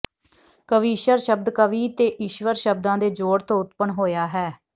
ਕਵੀਸ਼ਰ ਸ਼ਬਦ ਕਵੀ ਤੇ ਈਸ਼ਵਰ ਸ਼ਬਦਾਂ ਦੇ ਜੋੜ ਤੋਂ ਉਤਪੰਨ ਹੋਇਆ ਹੈ